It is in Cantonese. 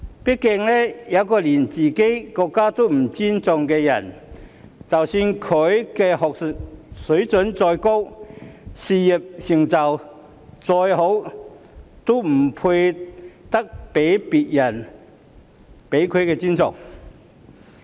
畢竟一個連自己國家也不尊重的人，即使他的學術水準再高，事業成就再好，也不配得到別人的尊重。